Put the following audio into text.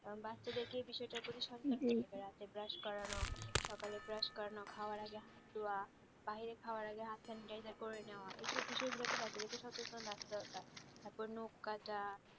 বাচ্চাদের কে এই বিষয় সচেতন রাখতে রাতে ব্রাশ করানো সকালে ব্রাশ করানো খাওয়ার আগে হাত ধোয়া বাহিরে খাওয়ার আগে হাত sanitizer করে নেয়া এই সব বিষয় গুলোকে বাচ্চাদের সচেতন রাখা দরকার তারপর নখ কাটা